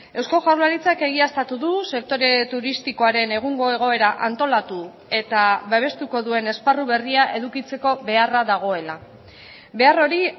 eusko jaurlaritzak egiaztatu du sektore turistikoaren egungo egoera antolatu eta babestuko duen esparru berria edukitzeko beharra dagoela behar hori